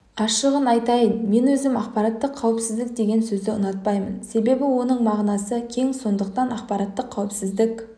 ашығын айтайын мен өзім ақпараттық қауіпсіздік деген сөзді ұнатпаймын себебі оның мағынасы кең сондықтан ақпараттық қауіпсіздік